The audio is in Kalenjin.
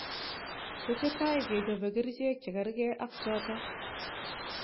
Tesetai kechapee kercheek chekargei ak chotok